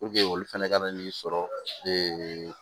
olu fɛnɛ ka na n'i sɔrɔ